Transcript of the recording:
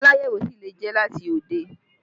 Aláyẹ̀wò sì lè jẹ́ láti òde